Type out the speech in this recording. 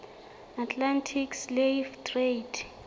atlantic slave trade